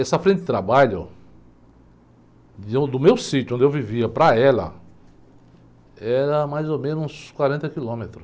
Essa frente de trabalho, de on, do meu sítio onde eu vivia para ela, era mais ou menos uns quarenta quilômetros.